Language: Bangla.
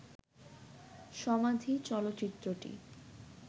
'সমাধি' চলচ্চিত্রটি